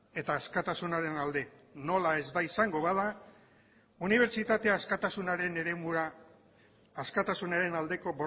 eta askatasunaren alde nola ez da izango bada unibertsitate askatasunaren eremura askatasunaren aldeko